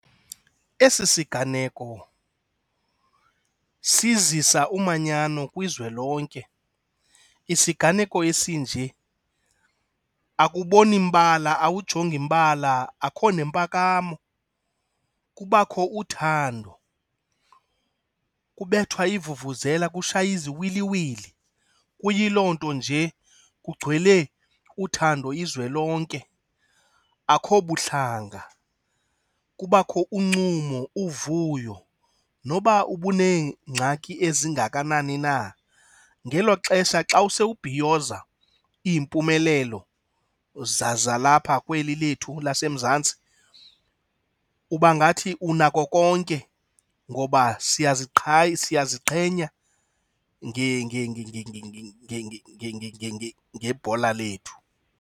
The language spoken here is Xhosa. Esi siganeko sizisa umanyano kwizwe lonke. Isiganeko esinje akuboni mbala, awujongi mbala, akho nempakamo, kubakho uthando. Kubethwa iivuvuzela kushaywe iziwiliwili, kuyiloo nto nje. Kugcwele uthando izwe lonke, akho buhlanga. Kubakho uncumo, uvuyo. Noba ubunengxaki ezi engakanani na, ngelo xesha xa usewubhiyoza iimpumelelo zalapha kweli lethu laseMzantsi, ubangathi unako konke ngoba siyaziqhenya ngebhola lethu.